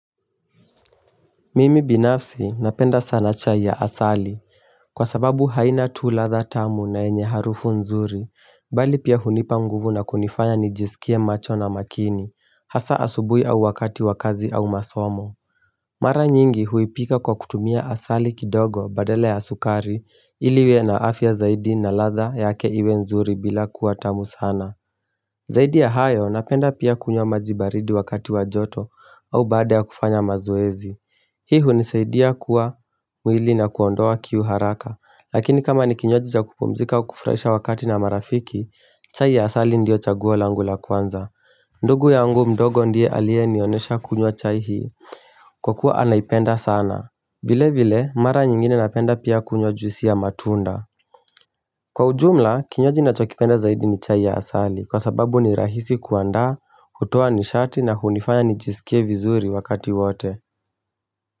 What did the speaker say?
Mimi binafsi napenda sana cha ya asali kwa sababu haina tu ladha tamu na yenye harufu nzuri, bali pia hunipa nguvu na kunifanya nijisikia macho na makini, hasa asubuhi au wakati wa kazi au masomo Mara nyingi huipika kwa kutumia asali kidogo badala ya sukari ili iwe na afya zaidi na ladha yake iwe nzuri bila kuwa tamu sana Zaidi ya hayo, napenda pia kunywa maji baridi wakati wa joto au baada ya kufanya mazoezi Hii hunisaidia kuwa mwili na kuondoa kiu haraka. Lakini kama ni kinywaji za kupumzika au kufurahisha wakati na marafiki, chai ya asali ndio chagua langu la kwanza ndugu yangu mdogo ndiye aliyenionyesha kunywa chai hii. Kwa kuwa anaipenda sana. Vile vile, mara nyingine napenda pia kunywa juisi ya matunda Kwa ujumla, kinywaji nachokipenda zaidi ni chai ya asali kwa sababu ni rahisi kuandaa, hutoa nishati na hunifanya nijisikie vizuri wakati wote.